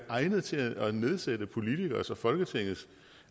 egnet til at nedsætte politikeres og folketingets